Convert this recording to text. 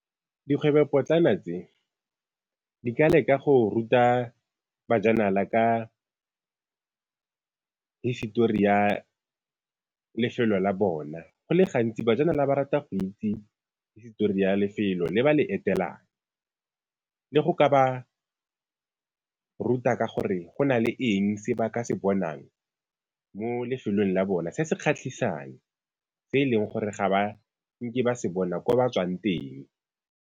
Dikgwebopotlana tse, di ka leka go ruta bajanala ka hisetori ya lefelo la bona. Go le gantsi bajanala ba rata go itse hisetori ya lefelo le ba le etelang le go ka ba ruta ka gore go na le eng se ba ka se bonang mo lefelong la bona se se kgatlhisang se e leng gore ga ba ke ba se bona kwa ba tswang teng.